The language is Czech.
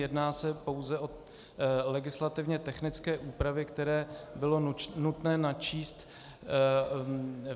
Jedná se pouze o legislativně technické úpravy, které bylo nutné načíst.